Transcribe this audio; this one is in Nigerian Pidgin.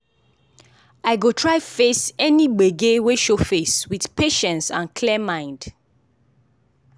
i go try face any gbege wey show face with patience and clear mind.